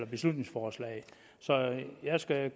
beslutningsforslaget så jeg skal